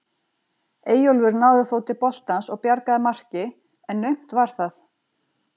Eyjólfur náði þó til boltans og bjargaði marki en naumt var það.